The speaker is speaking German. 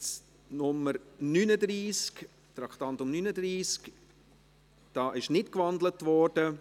Zum Traktandum 39: Diese Motion ist nicht gewandelt worden.